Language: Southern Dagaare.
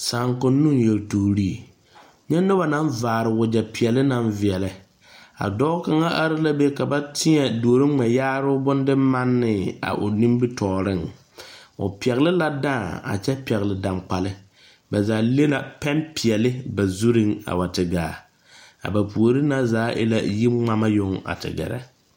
Saakonnoŋ yeltuuri nyɛ noba naŋ vaare wagyɛpeɛle naŋ veɛlɛ a dɔɔ kaŋa are la be ka ba teɛ duoro ŋmɛyaaroo bondemanne a o timitɔɔreŋ o pɛgle la dãã a kyɛ pɛgle dangbali ba zaa le la pɛnpeɛle ba zuriŋ a wa te gaa a ba puori na zaa e la yiŋmama yoŋ a te gɛrɛ.